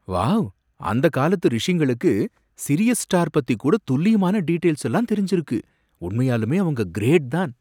Wow! அந்தக் காலத்து ரிஷிங்களுக்கு சிரியஸ் ஸ்டார் பத்தி கூட துல்லியமான டீடெய்ல்ஸ் எல்லாம் தெரிஞ்சுருக்கு! உண்மையாலுமே அவங்க கிரேட் தான்!